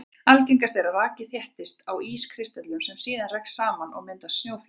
Algengast er að raki þéttist á ískristöllum sem síðan rekast saman og mynda snjóflyksur.